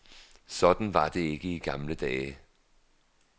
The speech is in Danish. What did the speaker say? Sådan var det ikke i gamle dage.